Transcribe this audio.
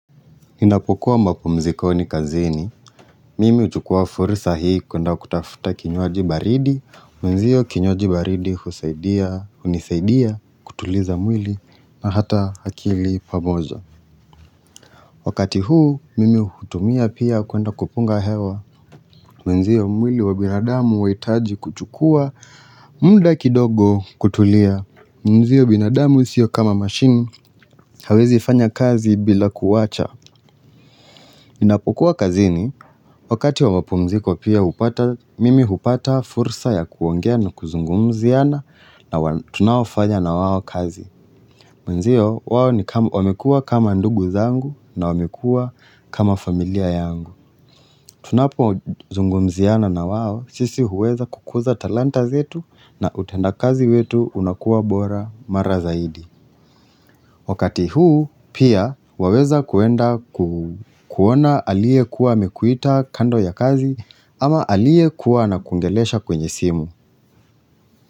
Ninapokuwa mapumzikoni kazini, mimi huchukua fursa hii kuenda kutafuta kinywaji baridi, mwenzio kinywaji baridi husaidia, hunisaidia, kutuliza mwili, na hata akili pamoja. Wakati huu, mimi hutumia pia kuenda kupunga hewa, mwenzio mwili wa binadamu wa huhitaji kuchukua, munlda kidogo kutulia, mwenzio binadamu sio kama machine, hawezi fanya kazi bila kuwacha. Ninapokuwa kazini, wakati wa mapumziko pia mimi hupata fursa ya kuongea na kuzungumziana na tunaofanya na wao kazi. Mwenzio, wao wamekua kama ndugu zangu na wamekua kama familia yangu. Tunapozungumziana na wao, sisi huweza kukuza talanta zetu na utenda kazi wetu unakuwa bora mara zaidi. Wakati huu pia waweza kuenda kuona aliyekuwa amekuita kando ya kazi ama aliyekuwa anakuongelesha kwenye simu.